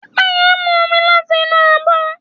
Pẹ́pẹ́yẹ́ mú omi láti inú abọ́.